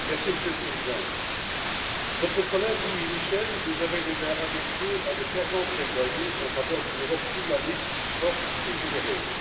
Monsieur le Président, notre collègue Louis Michel nous avait déjà habitués à de fervents plaidoyers en faveur d'une Europe humaniste, forte et généreuse.